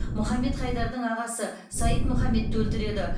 мұхаммед хайдардың ағасы саид мұхаммедті өлтіреді